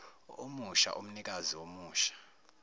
omusha umnikazi omusha